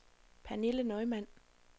Pernille Neumann